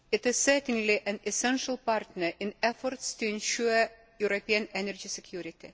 It is certainly an essential partner in efforts to ensure European energy security.